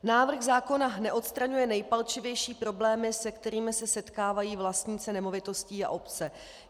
Návrh zákona neodstraňuje nejpalčivější problémy, se kterým se setkávají vlastníci nemovitostí a obce.